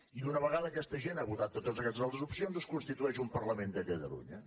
i una vegada aquesta gent ha votat totes aquestes altres opcions es constitueix un parlament de catalunya